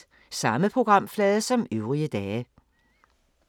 Samme programflade som øvrige dage